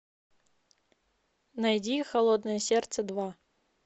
найди холодное сердце два